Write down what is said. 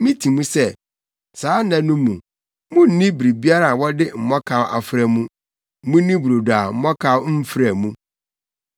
Miti mu sɛ, saa nna no mu, munnni biribiara a wɔde mmɔkaw afra mu; munni brodo a mmɔkaw mfra mu.”